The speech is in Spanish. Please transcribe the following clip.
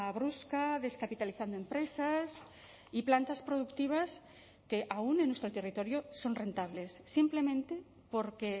brusca descapitalizando empresas y plantas productivas que aun en nuestro territorio son rentables simplemente porque